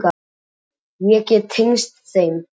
Ég get tengst þeim.